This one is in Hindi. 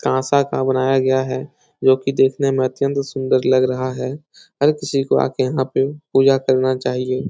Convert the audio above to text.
कांसा का बनाया गया है जो की देखने में अत्यंत सुन्दर लग रहा है हर किसी को आके यहां पे पूजा करना चाहिए।